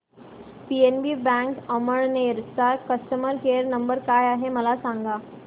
PNB bank Amalner चा customer care number काय आहे मला सांगा